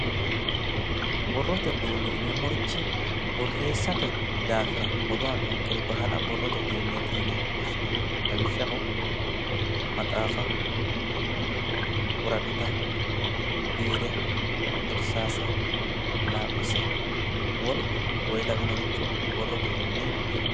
Borrote uduunnichi yineemmori boorreessate daafira hoto aannonkere baala borrote uduunneeti yine woshshineemmo lawishshaho, maxaafa, woraqata, biire orsaase, laaphise, woluno konne lawinoricho borrote uduunnicho yine woshshinanni.